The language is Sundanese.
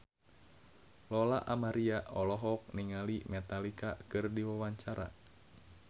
Lola Amaria olohok ningali Metallica keur diwawancara